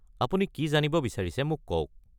আপুনি কি জানিব বিচাৰিছে মোক কওক।